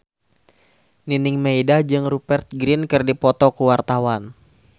Nining Meida jeung Rupert Grin keur dipoto ku wartawan